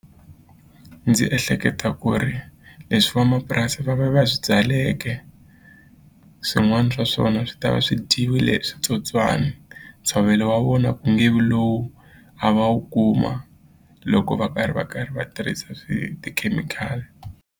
Ndzi ehleketa ku ri leswi vamapurasi va va va swi byaleke swin'wani swa swona swi ta va swi dyiwile hi switsotswani ntshovelo wa vona ku nge vi lowu a va wu kuma loko va karhi va karhi va tirhisa tikhemikhali.